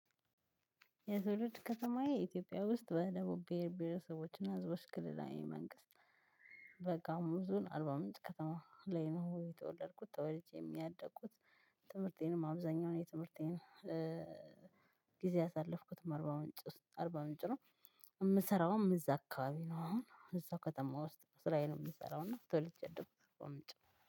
የትውልድ ከተማዬ ኢትዮጵያ ውስጥ በደቡብ ብሄር ብሄረሰቦችና ህዝቦች ክልላዊ መንግስት አርባ ምንጭ ከተማ ላይ ነው የተወለድኩት ተወልጄም ያደኩት ትምህርቴንም አብዛኛው ነው የትምህርቴን ጊዜ ያሳለፍኩትም አርባ ምንጭ አርባ ምንጭ ነው። የምሰራውም እዛ አካባቢ ነው አሁን እዛው ከተማ ውስጥ ስራየን የምሰራው እና ተወልጄ ያደኩት አርባ ምንጭ ነው